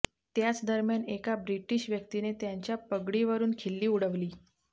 त्याच दरम्यान एका ब्रिटीश व्यक्तीने त्यांच्या पगडीवरुन खिल्ली उडवली